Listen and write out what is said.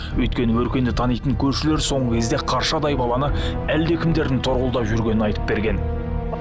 өйткені өркенді танитын көршілері соңғы кезде қаршадай баланы әлдекімдердің торуылдап жүргенін айтып берген